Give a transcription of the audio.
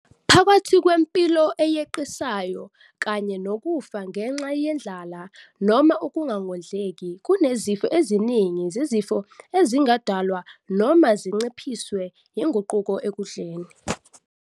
Phakathi kwempilo eyeqisayo kanye nokufa ngenxa yendlala noma ukungondleki, kunezifo eziningi zezifo ezingadalwa noma zinciphiswe yizinguquko ekudleni.